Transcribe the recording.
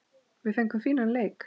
Við fengum fínan leik.